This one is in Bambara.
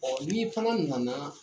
Ɔ nin fana nana